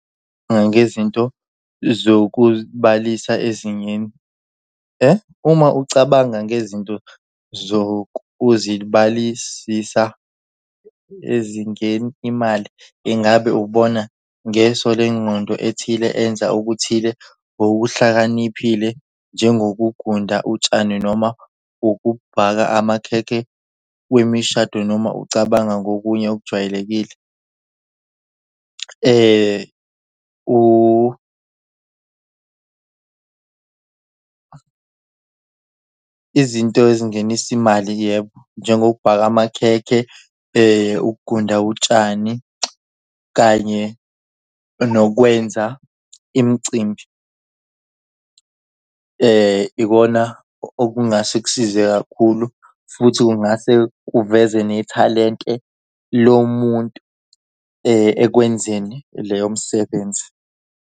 Ngezinto zokubalisa ezingeni . Uma ucabanga ngezinto zokuzibalisisa ezingeni imali, ingabe ubona ngeso lengqondo ethile enza okuthile okuhlakaniphile njengokugunda utshani noma ukubhaka amakhekhe wemishado noma ucabanga ngokunye okujwayelekile? Izinto ezingenisa imali? Yebo, njengokubhaka amakhekhe ukugunda utshani kanye nokwenza imicimbi ikona okungase kusize kakhulu futhi kungase kuveze nethalente lomuntu ekwenzeni leyo msebenzi.